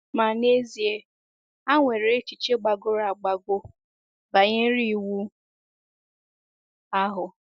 Ma n’ezie, ha nwere echiche gbagọrọ agbagọ banyere Iwu ahụ.